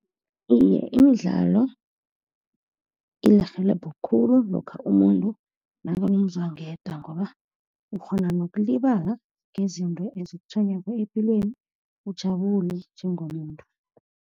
Iye, imidlalo iyarhelebha khulu lokha umuntu nakanomzwangedwa, ngoba ukghona nokulibala ngezinto ezikutshwenyako epilweni, ujabule njengomuntu.